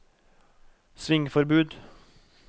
svingforbud